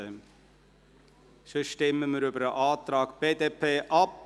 – Wenn nicht, stimmen wir über den Antrag BDP ab.